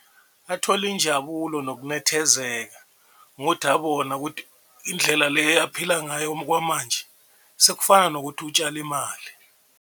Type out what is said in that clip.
Athole injabulo nokunethezeka ngodabona kuthi indlela le aphila ngayo kwamanje sekufana nokuthi utshale imali.